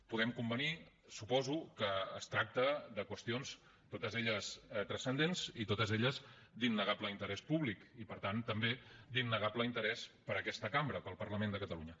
podem convenir suposo que es tracta de qüestions totes elles transcendents i totes elles d’innegable interès públic i per tant també d’innegable interès per a aquesta cambra per al parlament de catalunya